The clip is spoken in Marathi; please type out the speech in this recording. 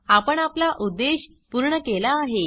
आपण आपला उद्देश पूर्ण केला आहे